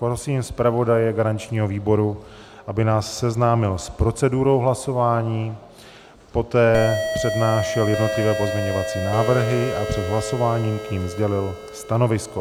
Prosím zpravodaje garančního výboru, aby nás seznámil s procedurou hlasování, poté přednášel jednotlivé pozměňovací návrhy a před hlasováním k nim sdělil stanovisko.